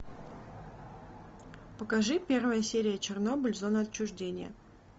покажи первая серия чернобыль зона отчуждения